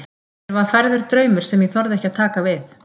Mér var færður draumur sem ég þorði ekki að taka við.